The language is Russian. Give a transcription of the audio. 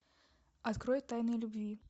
открой тайны любви